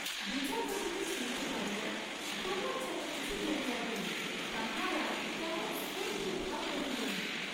বিচারপতিকে চিনিতে পারিয়াই প্রমোদ যেন কিছু দমিয়া গেলেন, তাঁহার আর তেমন স্ফূর্ত্তির ভাব রহিল না।